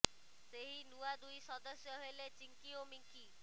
ସେହି ନୂଆ ଦୁଇ ସଦସ୍ୟ ହେଲେ ଚିଙ୍କି ଓ ମିଙ୍କି